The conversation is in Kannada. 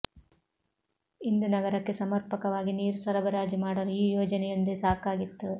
ಇಂದು ನಗರಕ್ಕೆ ಸಮರ್ಪಕವಾಗಿ ನೀರು ಸರಬರಾಜು ಮಾಡಲು ಈ ಯೋಜನೆಯೊಂದೆ ಸಾಕಾಗಿತ್ತು